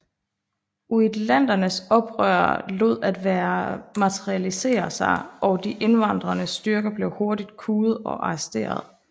Uitlandernes oprør lod være at materialisere sig og de invaderende styrker blev hurtigt kuet og arresteret